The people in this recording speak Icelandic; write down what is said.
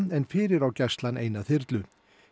en fyrir á Gæslan eina þyrlu